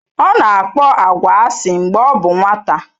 Ọ na-akpọ agwa asị mgbe ọ bụ nwata.